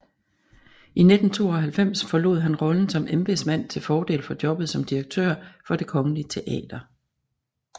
I 1992 forlod han rollen som embedsmand til fordel for jobbet som direktør for Det Kongelige Teater